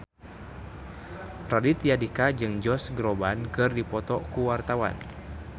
Raditya Dika jeung Josh Groban keur dipoto ku wartawan